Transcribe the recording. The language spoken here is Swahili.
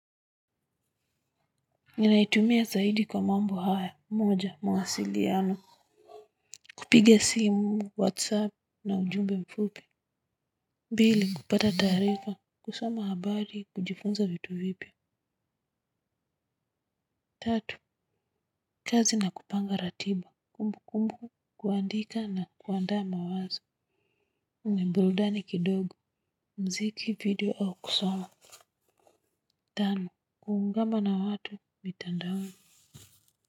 Ninaitumia zaidi kwa mambo haya moja mawasiliano. Kupiga simu whatsapp na ujumbe mfupi. Pili kupata taarifa kusoma habari kujifunza vitu vipya tatu kazi na kupanga ratiba kumbukumbu kuandika na kuandaa mawazo na burudani kidogo muziki video au kusoma. Tano kuungama na watu mitandaoni.